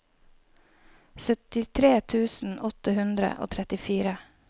syttitre tusen åtte hundre og trettifire